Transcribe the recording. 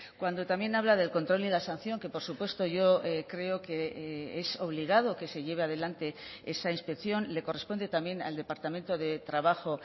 cuando también habla del control y la sanción que por supuesto yo creo que es obligado que se lleve adelante esa inspección le corresponde también al departamento de trabajo